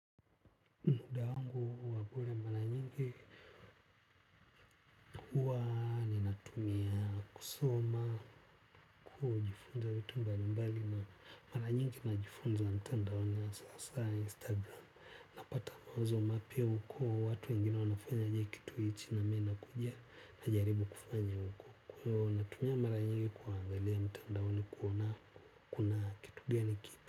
Muda wangu wa kula mara nyingi huwa ninatumia kusoma kujifunza vitu mbalimbali na mara nyingi najifunza mtandaoni ya hasa hasa instagram. Napata mawazo mapya huko watu wengine wanafanyaje kitu hiki nami nakuja najaribu kufanya huko. Kwa hiyo natumia mara nyingi kuangalia mtandaoni kuona kuna kitu gani kipya.